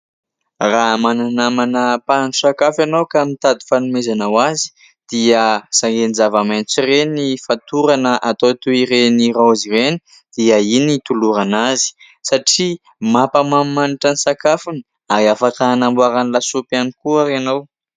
Raha manana namana mpanao sakafo ianao ka mitady fanomezana ho azy ! Dia ireny zava-maitso ireny fatorana atao toy ireny raozy ireny dia iny tolorana azy satria mampamanimanitra ny sakafony ; ary afaka hanamboarany lasopy ihany koa ara ianao.